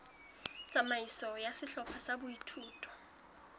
tsamaiso ya sehlopha sa boithuto